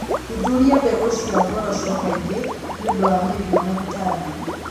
Thuthuria mbegũ cia ngoroco kaingĩ nĩ ũndũ wa mĩrimũ na tũtambi.